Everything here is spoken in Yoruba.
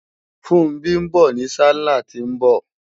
Funbí ń bọ̀ ní sálàh tí ń bọ̀